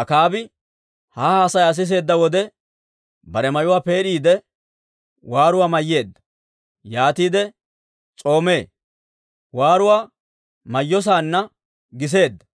Akaabi ha haasayaa siseedda wode, bare mayuwaa peed'iide, waaruwaa mayyeedda; yaatiide s'oomee. Waaruwaa mayyosaanna giseedda;